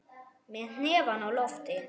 Með hnefann á lofti.